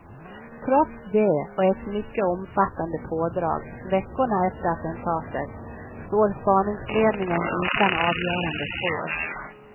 Trots det och ett mycket omfattande pådrag veckorna efter attentatet står spaningsledningen utan avgörande spår.